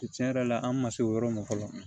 Tiɲɛ yɛrɛ la an man se o yɔrɔ ma fɔlɔ